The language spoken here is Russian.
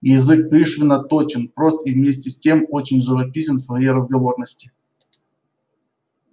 язык пришвина точен прост и вместе с тем очень живописен в своей разговорности